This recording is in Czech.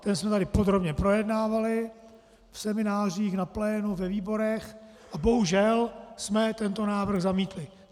Ten jsme tady podrobně projednávali v seminářích, na plénu, ve výborech a bohužel jsme tento návrh zamítli.